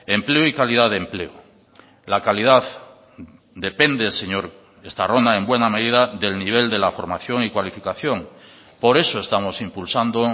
empleo y calidad de empleo la calidad depende señor estarrona en buena medida del nivel de la formación y cualificación por eso estamos impulsando